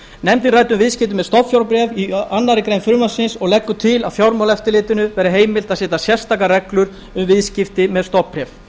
nefndin ræddi um viðskipti með stofnfjárbréf í annarri grein frumvarpsins og leggur til að fjármálaeftirlitinu verði heimilt að setja nánari reglur um viðskipti með stofnbréf